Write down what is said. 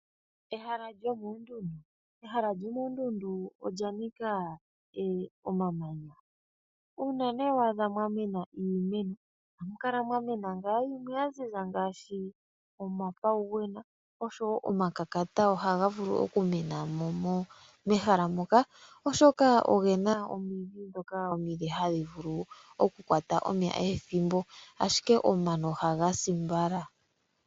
Ehala lyomoondundu, ehala lyomoondundu olyanika omamanya. Uuna nee waadha mwamena iimeno ohamukala mwamena yimwe yaziza ngaashi omafawuwena, osho wo omakakata oha ga vulu okumenamo mehala moka oshoka ogena omidhi dhoka omile hadhi vulu okukwata omeya ethimbo, ashike omano oha ga si mbala.